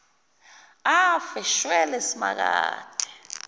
afe shwele simakade